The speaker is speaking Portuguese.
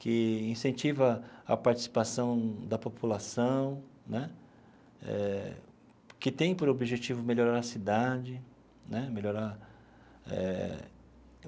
que incentiva a participação da população né eh, que tem por objetivo melhorar a cidade né melhorar eh.